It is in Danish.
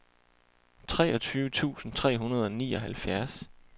treogtyve tusind tre hundrede og nioghalvfjerds